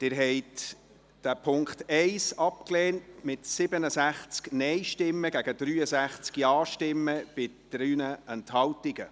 Sie haben den Punkt 1 abgelehnt mit 67 Nein- gegen 63 Ja-Stimmen bei 3 Enthaltungen.